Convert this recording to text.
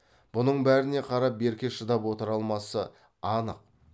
бұның бәріне қарап берке шыдап отыра алмасы анық